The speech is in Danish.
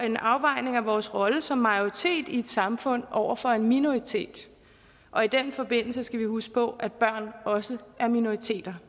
en afvejning af vores rolle som majoritet i et samfund over for en minoritet og i den forbindelse skal vi huske på at børn også er minoriteter